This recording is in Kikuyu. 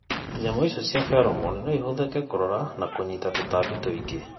Nyamũ icio cia feromone no ihũthĩke kũrora na kũnyiita tũtambi tũingĩ.